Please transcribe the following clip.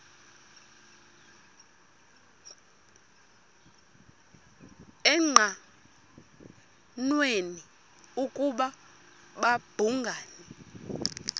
engqanweni ukuba babhungani